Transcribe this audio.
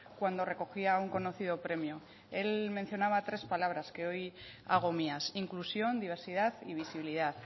cuando recogía un conocido premio él mencionaba tres palabras que hoy hago mías inclusión diversidad y visibilidad